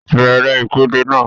Bẹ̀rẹ̀ ìpèdè náà!